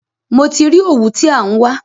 Mo ti rí òwú tí à ń wá.